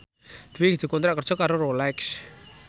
Dwi dikontrak kerja karo Rolex